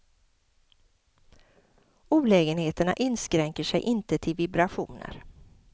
Olägenheterna inskränker sig inte till vibrationer.